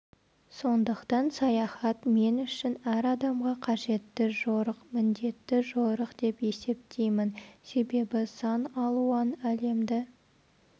сондықтан саяхат мен үшін әр адамға қажетті жорық міндетті жорық деп есептеймін себебі сан алуан әлемді